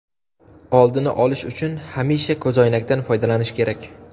Oldini olish uchun hamisha ko‘zoynakdan foydalanish kerak.